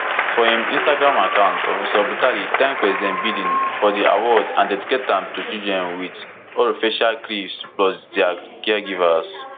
for im instagram account professor butali thank president biden for di award and dedicate am to children wit orofacial clefts plus dia caregivers